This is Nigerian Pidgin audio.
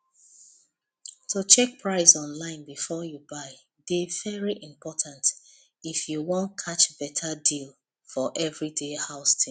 to check price online before you buy dey very important if you wan catch better deal for everyday house things